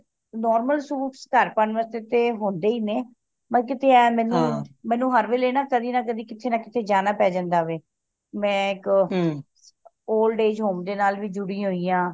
normal suit ਘਰ ਪਾਉਣ ਵਾਸਤੇ ਤੇ ਹੁੰਦੇ ਹੀ ਨੇ ਬਸ ਕਿਥੇ ਇਹ ਮੈਨੂੰ ਹਰ ਵੇਲ਼ੇ ਨਾ ਕਦੀ ਨਾ ਕਦੀ ਕਿਥੇ ਨਾ ਕਿਥੇ ਜਾਣਾ ਪੈ ਜਾਂਦਾ ਵੇ ਮੈਂ ਇਕ old age home ਦੇ ਨਾਲ ਵੀ ਜੁੜੀ ਹੋਇਆ